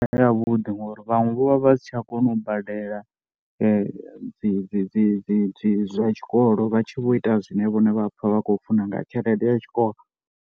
Yavhuḓi ngori vhaṅwe vho vha vha si tsha kona u badela dzi dzi dzi vha tshikolo. Vha tshi vho ita zwine vhone vha pfha vha khou funa nga tshelede ya Tshikolo.